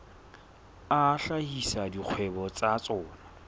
a hlahisa dikgwebo tsa tsona